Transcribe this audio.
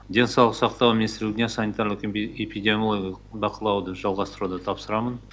денсаулық сақтау министрлігіне санитарлық эпидемиологиялық бақылауды жалғастыруды тапсырамын